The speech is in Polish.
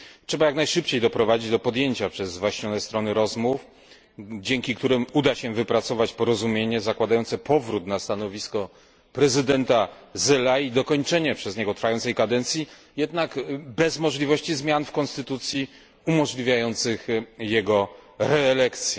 Trzeba jak najszybciej doprowadzić do podjęcia przez zwaśnione strony rozmów, dzięki którym uda się wypracować porozumienie zakładające powrót na stanowisko prezydenta Zelayi i dokończenia przez niego trwającej kadencji, jednak bez możliwości zmian w konstytucji umożliwiających jego reelekcję.